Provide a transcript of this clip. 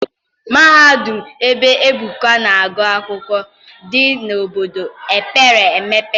Mahadum ebe Ebuka na-agụ akwụkwọ dị n'obodo mepere emepe.